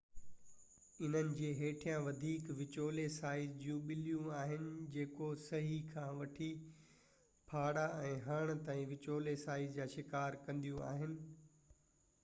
انهن جي هيٺيان وڌيڪ وچولي سائيز جون ٻليون آهن جيڪو سهي کان وٺي ڦاڙا ۽ هرڻ تائين وچولي سائيز جا شڪار کائينديون آهن